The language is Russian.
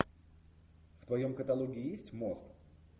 в твоем каталоге есть мост